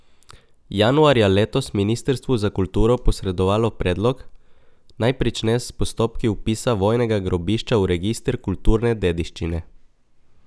Januarja letos ministrstvu za kulturo posredovalo predlog, naj prične s postopki vpisa vojnega grobišča v register kulturne dediščine.